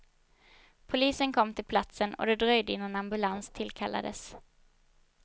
Polisen kom till platsen och det dröjde innan ambulans tillkallades.